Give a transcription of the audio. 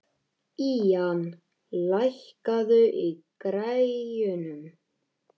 Ían, lækkaðu í græjunum.